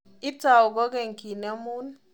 Itou kokeny kinemun.